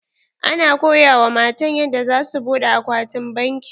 Ana koya wa matan yanda za su buɗe akwatin banki.